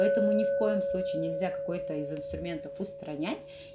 поэтому ни в коем случае нельзя какой-то из инструментов устранять